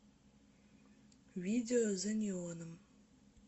видео за неоном